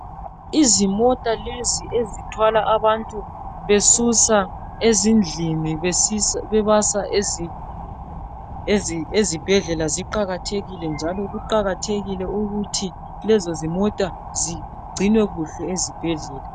Izimota lezi ezithwala abantu besusa ezindlini bebasa ezibhedlela ziqakathekile njalo kuqakathekile ukuthi lezo zimota zigcinwe kahle ezibhedlela